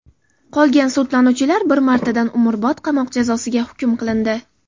Qolgan sudlanuvchilar bir martadan umrbod qamoq jazosiga hukm qilindi.